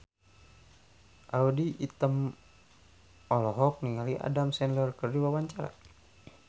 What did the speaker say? Audy Item olohok ningali Adam Sandler keur diwawancara